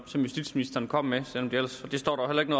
som justitsministeren kom med og det står der heller ikke